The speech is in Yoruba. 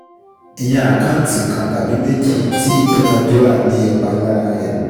Yan àkáǹtì kan (tàbí méjì) tí ìdúnadúrà ní ipa lára rẹ̀